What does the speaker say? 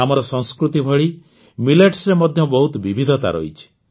ଆମର ସଂସ୍କୃତି ଭଳି ମିଲେଟ୍ସରେ ମଧ୍ୟ ବହୁତ ବିବିଧତା ରହିଛି